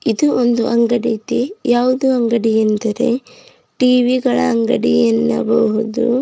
ಇದು ಒಂದು ಅಂಗಡಿ ಇದೆ ಯಾವುದು ಅಂಗಡಿ ಎಂದರೆ ಟಿ_ವಿ ಗಳ ಅಂಗಡಿಯನ್ನಬಹುದು.